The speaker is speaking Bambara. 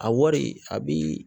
A wari a bi